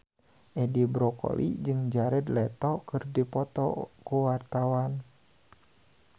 Edi Brokoli jeung Jared Leto keur dipoto ku wartawan